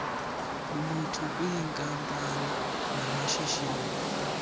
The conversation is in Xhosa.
lulutho kwiinkampani namashishini